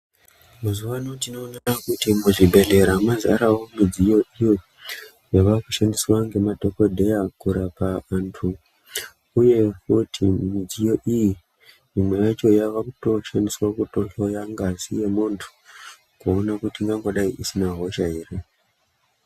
Muzuwa ano tinoona kuti muzvibhedhlera mazara midziyo iyo yavakushandiswa ngemadhokodheya kurapa vantu uye futi midziyo iyi imwe yacho yava kutoshandiswa kutohloya ngazi yemuntu kuona kuti ingangodai isina hosha here.